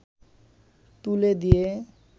তুলে দিয়ে